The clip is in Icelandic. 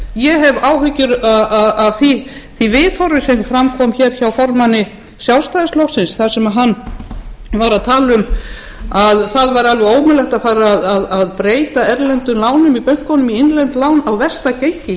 ég hef áhyggjur af því viðhorfi sem fram kom hér hjá formanni sjálfstæðisflokksins þar sem hann var að tala um það væri alveg ómögulegt að fara að breyta erlendum lánum í bönkunum í innlend lán á versta gengi